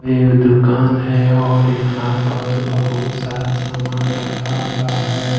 एक दुकान है और यहां पर बहुत सारा सामान रखा हुआ है।